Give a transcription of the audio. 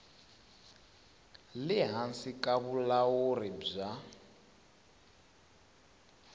le hansi ka vulawuri bya